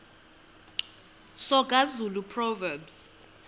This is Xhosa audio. soga zulu proverbs